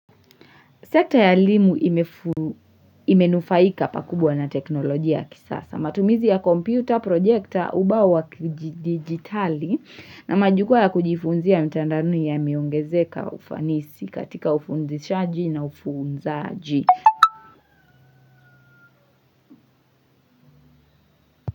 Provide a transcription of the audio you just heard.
Sekta ya elimu imenufaika pakubwa na teknolojia ya kisasa. Matumizi ya kompyuta, projekta, ubao wa kidijitali na majukwaa ya kujifunzia mtandaoni yameongezeka ufanisi katika ufunzishaji na ufunzaji.